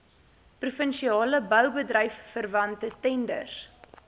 provinsiale boubedryfverwante tenders